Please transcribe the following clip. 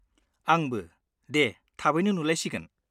आंबो, दे थाबैनो नुलायसिगोन!